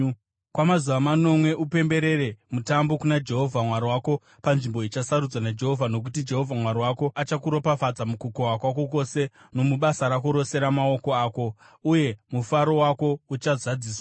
Kwamazuva manomwe upemberere Mutambo kuna Jehovha Mwari wako panzvimbo ichasarudzwa naJehovha, nokuti Jehovha Mwari wako achakuropafadza mukukohwa kwako kwose nomubasa rako rose ramaoko ako, uye mufaro wako uchazadziswa.